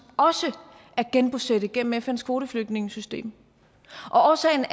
også at genbosætte gennem fns kvoteflygtningesystem og årsagen